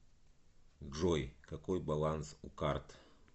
джой какой баланс у карт